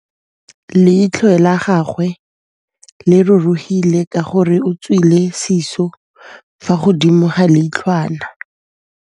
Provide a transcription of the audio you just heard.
Leitlhô la gagwe le rurugile ka gore o tswile sisô fa godimo ga leitlhwana.